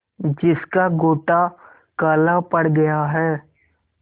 जिसका गोटा काला पड़ गया है